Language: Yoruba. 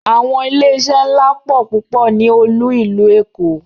Àwọn ilé iṣé ńlá pọ̀ púpọ̀ ní olú ìlú Èkó.